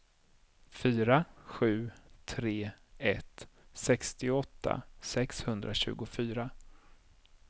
fyra sju tre ett sextioåtta sexhundratjugofyra